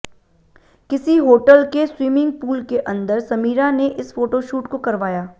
किसी होटल के swimming pool के अंदर समीरा ने इस फोटोशूट को करवाया